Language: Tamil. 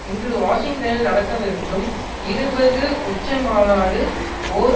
இன்று வாஷிங்டனில் நடக்க இருக்கும் இருபது உச்சிமாநாடு ஓர்